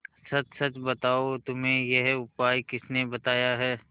सच सच बताओ तुम्हें यह उपाय किसने बताया है